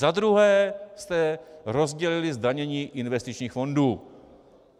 Za druhé jste rozdělili zdanění investičních fondů.